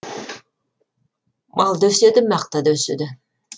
мал да өседі мақта да өседі